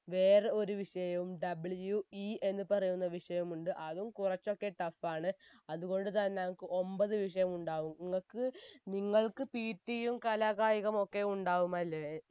വേറെ ഒരു വിഷയവും WE എന്ന് പറയുന്ന വിഷയമുണ്ട് അതും കുറച്ചൊക്കെ tough ആണ് അത് കൊണ്ട് തന്നെ ഞങ്ങക്ക് ഒമ്പത് വിഷയമുണ്ടാകും നിങ്ങക്ക് നിങ്ങൾക്ക് PT യും കലാകായികമൊക്കെ ഉണ്ടാവുമല്ലേ